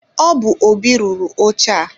Ọ bu Óbị rụrụ oche a.